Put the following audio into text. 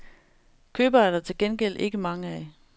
Købere er der gengæld ikke mange af.